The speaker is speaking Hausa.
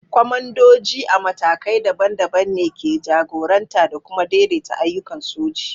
Kwamandoji a matakai daban-daban ne ke jagoranta da kuma daidaita ayyukan soji.